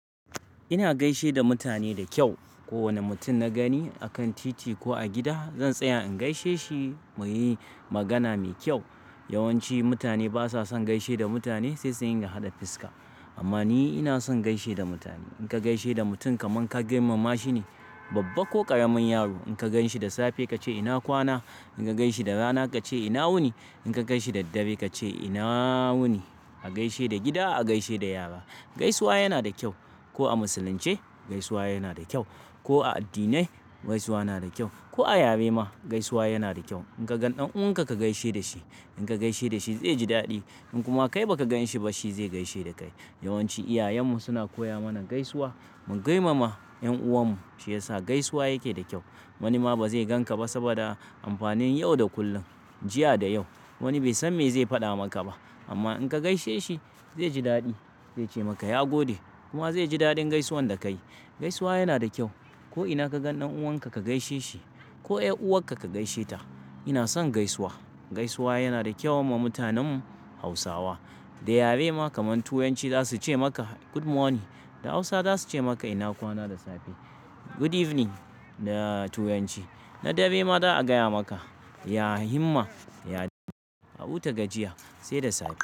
Ina gaishe da mutane da kyau. Ko wane mutum na gani a kan titi ko a gida, zan tsaya in gaishe shi mu yi magana mai kyau. Yawanci mutane ba sa son gaishe da mutane sai suriin ga haɗa fiska. Amma ni ina son gaishe da mutane. In ka gaishe da mutum kamar ka girmama shi ne, babba ko ƙaramin yaro. In ka gan shi da safe ka ce "ina kwana?" In ka gan shi da rana ka ce "ina wuni?" In ka gan shi da dare ka ce "ina wuni?" A gaishe da gida, a gaishe da yara. Gaisuwa yana da kyau. Ko a Musulunce, gaisuwa yana da kyau. Ko a addinai, gaisuwa yana da kyau. Ko a yare ma, gaisuwa yana da kyau. In ka gan ɗan uwanka ka gaishe da shi. In ka gaishe da shi zai ji daɗi. In kuma kai ba ka gan shi ba, shi zai gaishe da kai. Yawanci iyayenmu suna koya mana gaisuwa. Mu girmama 'yan'uwanmu shi yasa gaisuwa yake da kyau. Wani ma ba zai gan ka ba saboda amfanin yau da kullum, jiya da yau. Wani bai san me zai faɗa maka ba. Amma in ka gaishe shi, zai ji daɗi. Zai ce maka "Ya gode." Kuma zai ji daɗin gaisuwan da ka yi. Gaisuwa yana da kyau. Ko ina ka gan ɗan uwanka ka gaishe shi. Ko 'yar'uwarka ka gaishe ta. Ina son gaisuwa. Gaisuwa yana da kyau ma mutanen Hausawa. Da yare ma kamar Turanci za su ce maka "Good morning." Da Hausa za su ce maka "ina kwana?" da safe. "Good evening" da Turanci. Na dare ma za a gaya maka "Ya himma, ya dadi, ya wuta-ga-jiya, sai da safe."